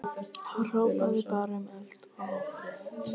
Hrópaði bara um eld og ófrið.